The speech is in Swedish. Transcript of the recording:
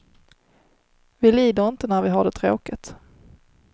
Vi lider inte när vi har det tråkigt.